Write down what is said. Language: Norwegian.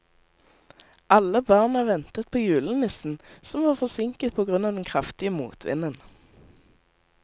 Alle barna ventet på julenissen, som var forsinket på grunn av den kraftige motvinden.